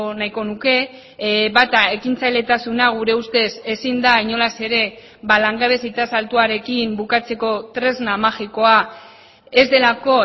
nahiko nuke bata ekintzailetasuna gure ustez ezin da inolaz ere langabezi tasa altuarekin bukatzeko tresna magikoa ez delako